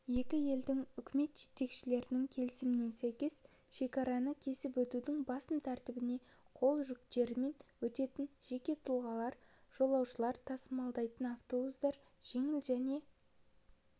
екі елдің үкімет жетекшілерінің келісіміне сәйкес шекараны кесіп өтудің басым тәртібіне қол жүктерімен өтетін жеке тұлғалар жолаушылар тасымалдайтын аввтобустар жеңіл және